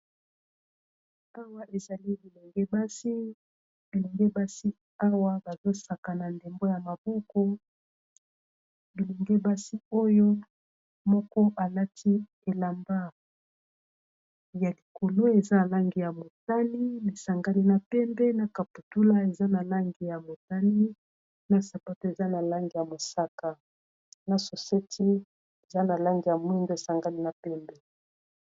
awa ezali bilengebasi awa bazosaka na ndembo ya maboko bilungebasi oyo moko alati elamba ya likolo eza na langi ya motali nesangani na pembe na caputula eza na langi ya motali na sapote eza na langi ya mosaka na soseti eza na langi ya mwindo esangali na mpembe